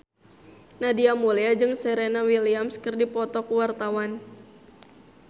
Nadia Mulya jeung Serena Williams keur dipoto ku wartawan